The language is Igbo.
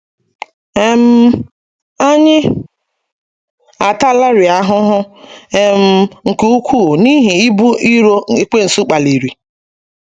um Anyị ataalarị ahụhụ um nke ukwuu n’ihi ibu iro ekwensu kpaliri.